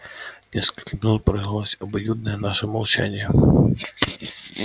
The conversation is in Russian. несколько минут продолжалось обоюдное наше молчание